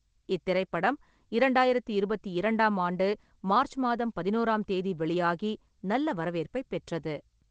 இத்திரைப்படம் இரண்டாயிரத்தி இருபத்தி இரண்டாம் ஆண்டு மார்ச் மாதம் பதினோராம் தேதி வெளியாகி, நல்ல வரவேற்பைப் பெற்றது.